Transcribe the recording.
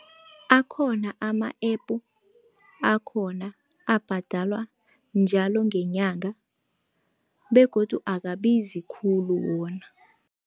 Akhona ama-app akhona abhadalwa njalo ngenyanga begodu akabizi khulu wona.